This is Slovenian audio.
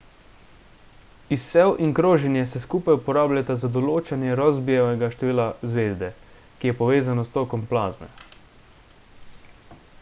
izsev in kroženje se skupaj uporabljata za določanje rossbyjevega števila zvezde ki je povezano s tokom plazme